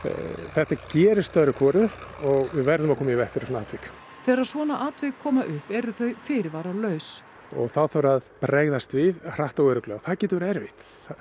þetta gerist öðru hvoru og við verðum að koma í veg fyrir svona atvik þegar svona atvik koma upp eru þau fyrirvaralaus og þá þarf að bregðast við hratt og örugglega það getur verið erfitt